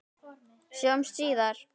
Sjáumst síðar.